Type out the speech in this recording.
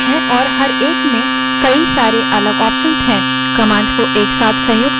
Linux में हमारे पास काफी सारी commands हैं